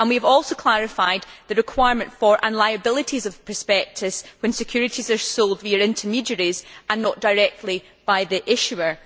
we have also clarified the requirement for and liabilities of the prospectus when securities are sold via intermediaries and not directly by the issuer.